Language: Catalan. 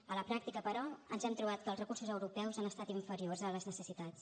a la pràctica però ens hem trobat que els recursos europeus han estat inferiors a les necessitats